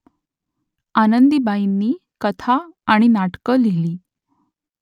आनंदीबाईंनी कथा आणि नाटकं लिहिली